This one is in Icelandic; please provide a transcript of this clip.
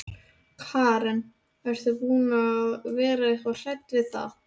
Karen: Ert þú búin að vera eitthvað hrædd við það?